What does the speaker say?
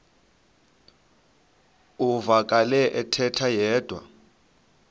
uvakele ethetha yedwa